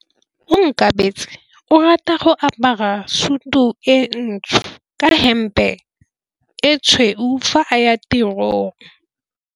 Onkabetse o rata go apara sutu e ntsho ka hempe e tshweu fa a ya tirong.